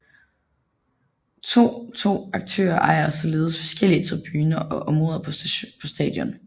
To to aktører ejer således forskellige tribuner og områder på stadion